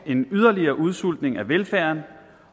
en yderligere udsultning af velfærden